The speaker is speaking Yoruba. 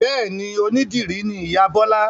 Bẹ́ẹ̀ni, onídìrí ni ìyá Bọ́la